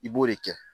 I b'o de kɛ